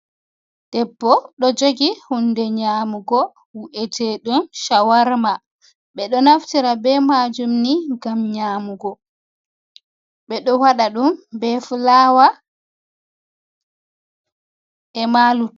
Debbo ɗo jogi hunde nyamugo wi’ete ɗum shawarma ɓeɗo naftira be majum ni ngam nyamugo ɓeɗo wada um be fulaawa ema luttuɗum.